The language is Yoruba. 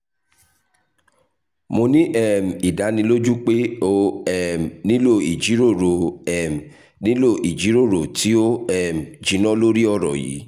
mo ni um idaniloju pe o um nilo ijiroro um nilo ijiroro ti o um jinna lori ọrọ yii